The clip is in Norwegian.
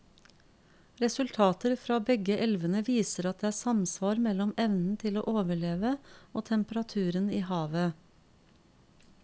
Resultater fra begge elvene viser at det er samsvar mellom evnen til å overleve og temperaturen i havet.